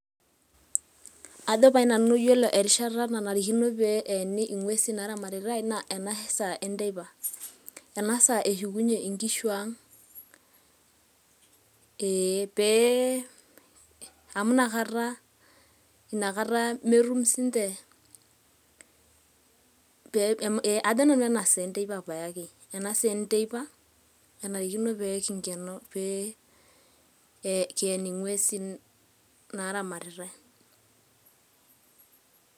Ajo pae nanu ore erishata nanarikono pee eeni ing'uesin naa ramatitae naa ena saa enteipa. Enasaa eshukunye inkishu ang,. Amu inakata metum sii ninche, ajo nanu ena saa enteipa paye ake, enarikino pee kinkenoo, kien ing'uesin naa ramatitae.